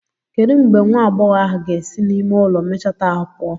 Kedu mgbe nwa agbọghọ ahụ ga-esi n'ime ụlọ mecheta ahụ pụọ?